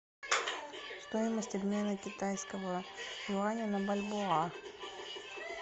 стоимость обмена китайского юаня на бальбоа